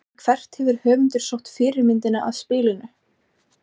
En hvert hefur höfundur sótt fyrirmyndina að spilinu?